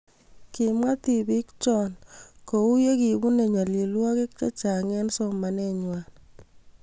Kimwa tibiik choe ko uu ye kibuntoe nyalilwokik che chang eng somanee ngwang.